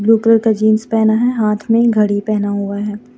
Blue colour का jeans पहना है हाथ में घड़ी पहना हुआ है।